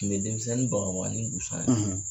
Tun bɛ denmisɛnnin bagabaga ni busan ye.